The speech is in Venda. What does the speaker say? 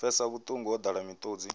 pfisaho vhuṱungu wo ḓala miṱodzi